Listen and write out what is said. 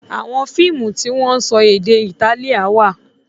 Àwọn fiimu ti wón sọ èdè Itálíà wá.